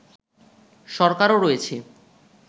সরকারও রয়েছে